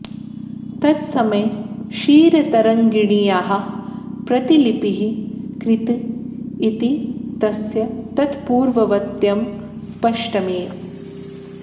तत्समये क्षीरतरङ्गिण्याः प्रतिलिपिः कृत इति तस्य तत्पूर्ववतत्वं स्पष्टमेव